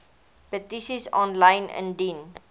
petisies aanlyn indien